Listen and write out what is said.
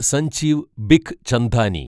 Sanjeev Bikhchandani